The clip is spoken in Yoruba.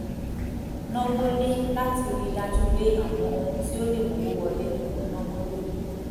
náwó lé láti ri dájú pé àwọn ohun tí ó lè mówó wọlé ni mò ń náwó lé